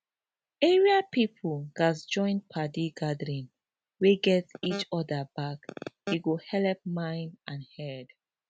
area people gatz join padi gathering wey get each other back e go helep mind and head